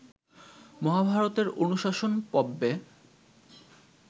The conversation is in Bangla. মহাভারতের অনুশাসন পর্ব্বে